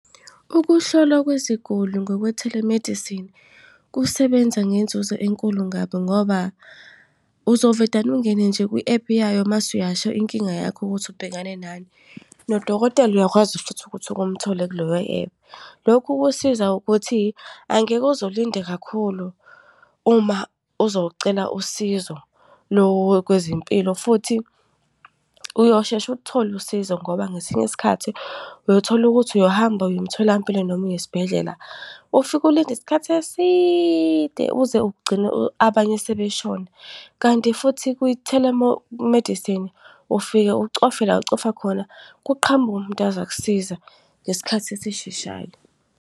Ukuhlolwa kweziguli ngokwe-telemedicine kusebenza ngenzuzo enkulu kabi ngoba uzovedane ungene nje kwi-ephu yayo, mase uyasho inkinga yakho ukuthi ubhekane nani. Nodokotela uyakwazi futhi ukuthi umthole kuleyo ephu. Lokhu kusiza ukuthi, angeke uze ulinde kakhulu uma uzocela usizo lo kwezempilo. Futhi uyosheshe ulithole usizo ngoba ngesinye isikhathi uyothola ukuthi uyohamba uya emtholampilo noma uyesibhedlela, ufike ulinde isikhathi eside, uze ugcine abanye sebeshona. Kanti futhi kwi-telemedicine, ufike ucofe la ucofa khona kuqhamuka umuntu azokusiza ngesikhathi esisheshayo.